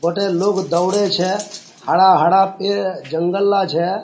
गोटाय लोक दौड़े छे हरा-हरा पेड़ जंगल ला छे।